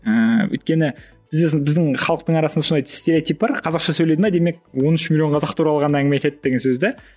ііі өйткені біздің халықтың арасында сондай стереотип бар қазақша сөйледі ме демек он үш миллион қазақ туралы ғана әңгіме айтады деген сөз де